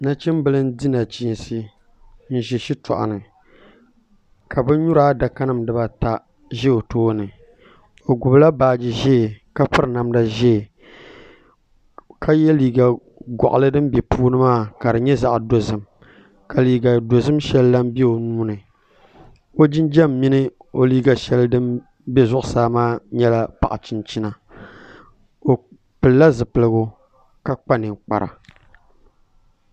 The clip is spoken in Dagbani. Nachimbili n di nachiinsi n ʒi shitoɣu ni ka bin nyura adaka nim dibata ʒɛ o tooni o gbubila baaji ʒiɛ ka piri namda ʒiɛ ka yɛ liiga goɣali din bɛ puuni maa ka di nyɛ zaɣ dozim ka liiga dozim shɛli lahi bɛ o nuuni o jinjɛm mini o liiga dozim shɛli din bɛ zuɣusaa maa nyɛla paɣa chinchina o pilila zipiligu ka kpa ninkpara